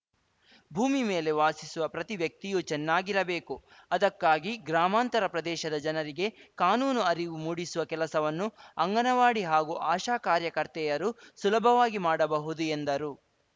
ಭೂಮಿ ಮೇಲೆ ವಾಸಿಸುವ ಪ್ರತಿ ವ್ಯಕ್ತಿಯೂ ಚೆನ್ನಾಗಿರಬೇಕು ಅದಕ್ಕಾಗಿ ಗ್ರಾಮಾಂತರ ಪ್ರದೇಶದ ಜನರಿಗೆ ಕಾನೂನು ಅರಿವು ಮೂಡಿಸುವ ಕೆಲಸವನ್ನು ಅಂಗನವಾಡಿ ಹಾಗೂ ಆಶಾ ಕಾರ್ಯಕರ್ತೆಯರು ಸುಲಭವಾಗಿ ಮಾಡಬಹುದು ಎಂದರು